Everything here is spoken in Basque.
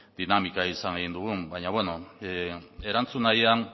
dinamika izan dugun baina beno erantzun nahian